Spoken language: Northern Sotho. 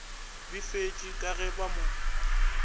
befetšwe ka ge ba mo